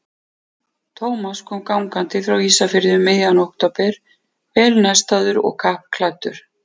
Thomas kom gangandi frá Ísafirði um miðjan október, vel nestaður og kappklæddur.